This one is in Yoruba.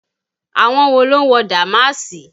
Àwọn wo ló ń wo dàmáàsì?